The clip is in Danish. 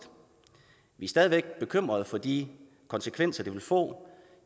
vi er stadig væk bekymrede for de konsekvenser det vil få